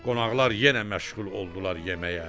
Qonaqlar yenə məşğul oldular yeməyə.